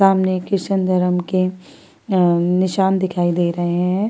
ने क्रिश्चियन धर्म के आ निशान दिखाई दे रहे हैं।